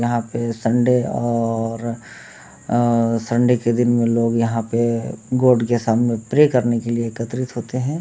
यहाँ पे सन्डे और अ सन्डे के दिन में लोग यहाँ पे गोड के सामने प्रे करने एकट्रिट होते हैं।